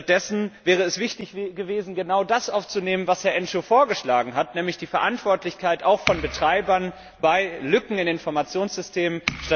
Stattdessen wäre es wichtig gewesen, genau das aufzunehmen, was Herr Enciu vorgeschlagen hat, nämlich auch die Verantwortlichkeit von Betreibern bei Lücken in Informationssystemen.